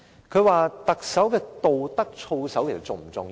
他問特首的道德操守是否重要？